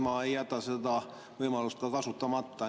Ma ei jäta seda võimalust kasutamata.